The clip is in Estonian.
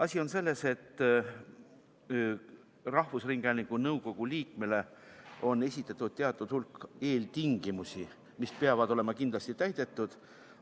Asi on selles, et rahvusringhäälingu nõukogu liikmele on esitatud teatud hulk eeltingimusi, mis peavad olema kindlasti täidetud.